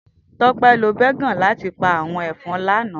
Tope ló bégòn làtí pá áwòn efòn lálè àná